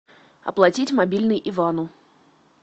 оплатить мобильный ивану